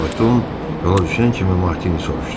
Fayton yola düşən kimi Martini soruşdu: